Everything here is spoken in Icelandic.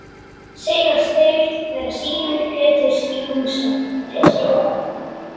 Segjast þeir vera synir Péturs í Húsanesi.